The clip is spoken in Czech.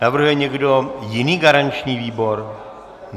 Navrhuje někdo jiný garanční výbor?